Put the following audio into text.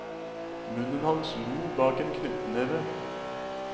Munnen hans lo bak en knyttetneve.